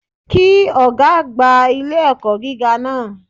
Kí Ọ̀gá àgbà ilé-ẹ̀kọ́ gíga náà